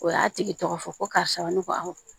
O y'a tigi tɔgɔ fɔ ko karisa ne ko awɔ